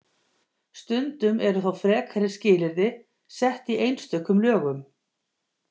Stundum eru þó frekari skilyrði sett í einstökum lögum.